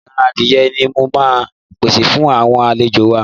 Ẹran adìye ni mo máa pèsè fún àwọn àlejò wa.